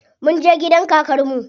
Munje gidan kakar mu.